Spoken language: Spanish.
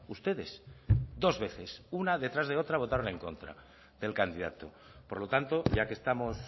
ustedes dos veces una detrás de otra votaron en contra del candidato por lo tanto ya que estamos